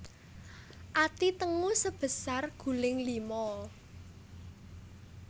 Ati tengu sebesar guling lima